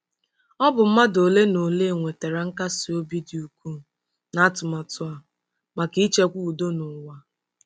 Ọ bụ mmadụ ole na ole nwetara nkasi obi dị ukwuu n'atụmatụ a maka ichekwa udo n'ụwa.